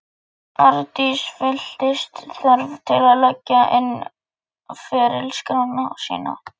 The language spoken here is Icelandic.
Arndís fylltist þörf til að leggja inn á ferilskrána sína.